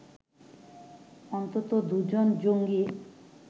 অন্তত দু’জন জঙ্গি